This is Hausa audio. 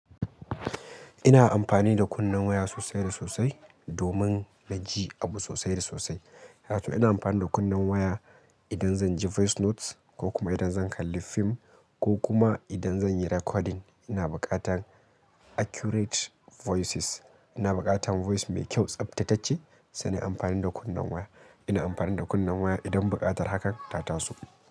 Ina amfani da kunnen waya sosai da sosai, domin na ji abu sosai da sosai. Kaga to ina amfani da kunnen waya idan zan ji voice notes, ko kuma idan zan kalli fim, ko kuma idan zan yi recording. Ina buƙatan accurate voices. Ina buƙatan voice mai kyau, tsaftatacce, sai nayi amfani da kunnen waya. Ina amfani da kunnen waya idan buƙatar hakan ta taso.